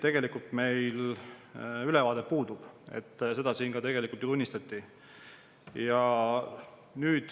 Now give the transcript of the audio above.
Meil puudub neist ülevaade, mida siin ka ju tunnistati.